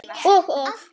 Og, og.